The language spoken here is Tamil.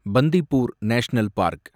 Bandipur national park